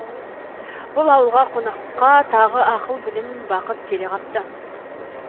бұл ауылға қонаққа тағы ақыл білім бақыт келе қапты